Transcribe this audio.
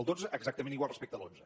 el dotze exactament igual respecte a l’onze